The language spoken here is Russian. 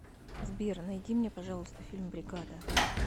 сбер найди мне пожалуйста фильм бригада